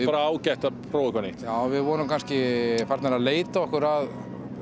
bara ágætt að prófa eitthvað nýtt við vorum kannski farnir að leita okkur að